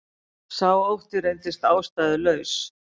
Sá ótti reyndist ástæðulaus